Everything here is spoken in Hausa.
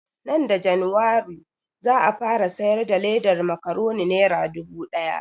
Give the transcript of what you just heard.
Nan da januwari za a fara siyar da ledan makuroni nera dubu ɗaya